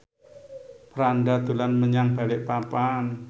Franda dolan menyang Balikpapan